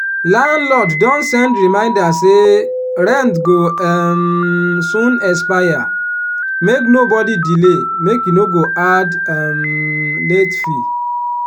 landlord don send reminder say rent go um soon expire make nobody delay make e no go add um late fee.